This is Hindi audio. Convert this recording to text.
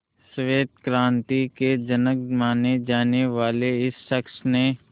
श्वेत क्रांति के जनक माने जाने वाले इस शख्स ने